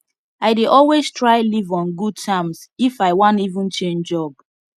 i dey always try leave on good terms if i wan even change job